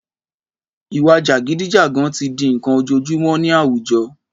Ìwà jàgídíjàgan tí di n'kan ojojúmọ́ ní àwùjọ